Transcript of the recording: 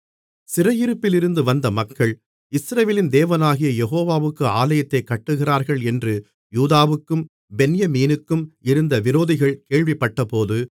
சிறையிருப்பிலிருந்து வந்த மக்கள் இஸ்ரவேலின் தேவனாகிய யெகோவாவுக்கு ஆலயத்தைக் கட்டுகிறார்கள் என்று யூதாவுக்கும் பென்யமீனுக்கும் இருந்த விரோதிகள் கேள்விப்பட்டபோது